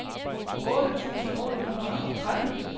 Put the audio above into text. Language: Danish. otte tusind otte hundrede og tretten